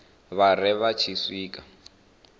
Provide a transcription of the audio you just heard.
vha ri vha tshi swika